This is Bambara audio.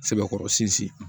Sɛbɛkɔrɔ sinzin